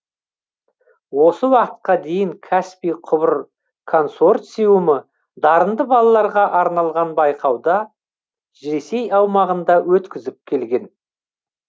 осы уақытқа дейін каспий құбыр консорциумы дарынды балаларға арналған байқауды ресей аумағында өткізіп келген